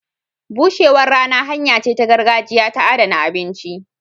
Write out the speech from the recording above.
Bushewar rana hanya ce ta gargajiya ta adana abinci.